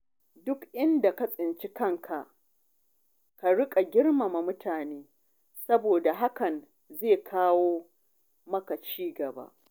Duk inda ka tsinci kanka, ka riƙa girmama mutane saboda hakan zai kawo maka ci gaba.